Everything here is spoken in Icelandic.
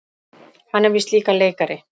Hann er víst líka leikari.